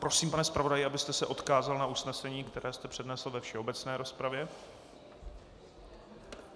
Prosím, pane zpravodaji, abyste se odkázal na usnesení, které jste přednesl ve všeobecné rozpravě.